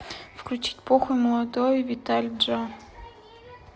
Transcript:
включить похуй молодой витали джа